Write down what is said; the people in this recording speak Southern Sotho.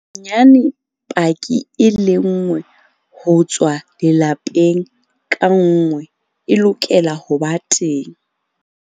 Bonyane paki e lenngwe ho tswa lelapeng ka nngwe e lokela ho ba teng.